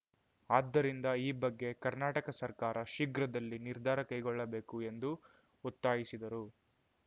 ಆದ್ದರಿಂದ ಈ ಬಗ್ಗೆ ಕರ್ನಾಟಕ ಸರ್ಕಾರ ಶೀಘ್ರದಲ್ಲಿ ನಿರ್ಧಾರ ಕೈಗೊಳ್ಳಬೇಕು ಎಂದು ಒತ್ತಾಯಿಸಿದರು